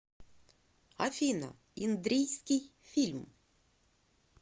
афина индрийский фильм